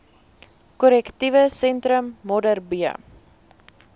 korrektiewe sentrum modderbee